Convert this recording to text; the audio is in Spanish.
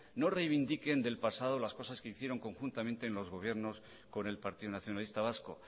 no reivindiquen del pasado las cosas que hicieron conjuntamente en los gobiernos con el partido nacionalista vasco